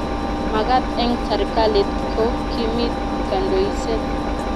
Magat eng' serikalit ko kimit kandoiset